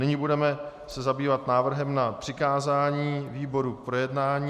Nyní se budeme zabývat návrhem na přikázání výboru k projednání.